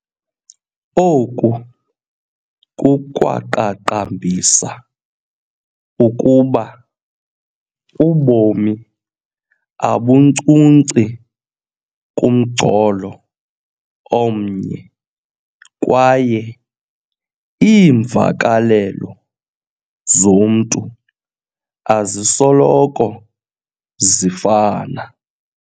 Oku kukwaqaqambisa ukuba ubomi abunkcunci kumgcolo omnye kwaye iimvakalelo zomntu azisoloko zifana.